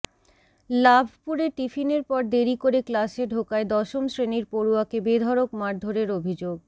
লাভপুরে টিফিনের পর দেরি করে ক্লাসে ঢোকায় দশম শ্রেণির পড়ুয়াকে বেধড়ক মারধরের অভিযোগ